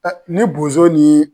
Ni bozo ni